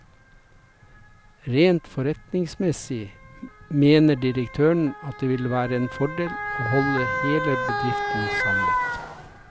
Rent forretningsmessig mener direktøren at det ville vært en fordel å holde hele bedriften samlet.